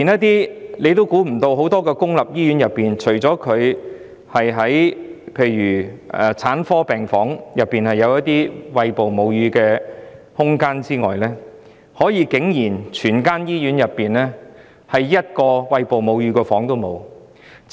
大家也想不到，在一間公立醫院，除了在產科病房內有餵哺母乳的空間外，竟然連一間餵哺母乳的房間也沒有。